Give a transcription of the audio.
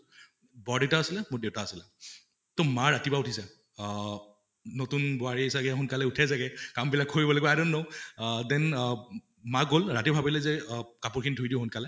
বৰ দেউতা আছিলে, মোৰ দেউতা আছিলে তʼ মা ৰাতিপুৱা উঠি যায় অহ নতুন বোৱাৰী চাগে সোনকালে উঠে চাগে কাম বিলাক কৰিব লাগিব i don't know uh then uh মা গʼল ৰাতি ভাবিলে যে অহ কাপোৰ খিনি ধুই দিওঁ সোনকালে